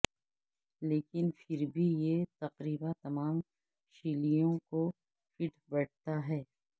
لیکن پھر بھی یہ تقریبا تمام شیلیوں کو فٹ بیٹھتا ہے